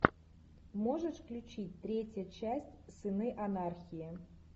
можешь включить третья часть сыны анархии